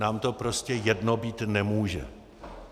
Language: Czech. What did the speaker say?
Nám to prostě jedno být nemůže.